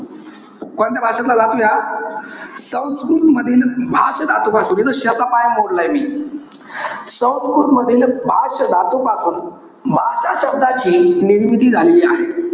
कोणत्या भाषेतला धातू आहे हा? संस्कृतमधील भाष धातूपासून. इथे ष चा पाय मोडलाय मी. संस्कृत मधील, भाष धातूपासून, भाषा शब्दाची निर्मिती झालेली आहे.